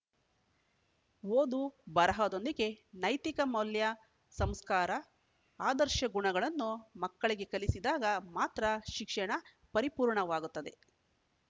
ಓದು ಬರಹದೊಂದಿಗೆ ನೈತಿಕ ಮೌಲ್ಯ ಸಂಸ್ಕಾರ ಆದರ್ಶ ಗುಣಗಳನ್ನೂ ಮಕ್ಕಳಿಗೆ ಕಲಿಸಿದಾಗ ಮಾತ್ರ ಶಿಕ್ಷಣ ಪರಿಪೂರ್ಣವಾಗುತ್ತದೆ